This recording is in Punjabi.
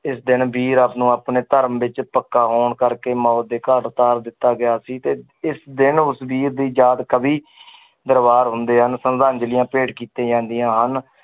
ਇਸ ਦੀਨ ਵੀਰ ਆਪੋ ਆਪਣੇ ਧਰਮ ਵਿੱਚ ਪੱਕਾ ਹੋਣ ਕਰਕੇ ਮੌਤ ਦੇ ਘਾਟ ਉਤਾਰ ਦਿੱਤਾ ਗਿਆ ਸੀ ਤੇ ਇਸ ਦਿਨ ਉਸ ਵੀਰ ਦੀ ਯਾਦ ਕਵੀ ਦਰਬਾਰ ਹੁੰਦੇ ਹਨ ਸਰਧਾਜ਼ਲੀਆਂ ਭੇਟ ਕੀਤੇ ਜਾਂਦੀਆਂ ਹਨ